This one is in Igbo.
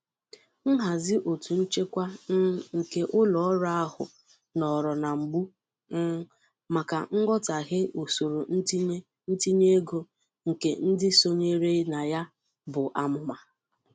Nhazi ọtú nchekwa um nke ụlọọrụ ahụ nọọrọ na mgbu um maka nghọtahie usoro ntinye ntinye ego nke ndị sonyere na ya bụ amụma.